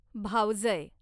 भावजय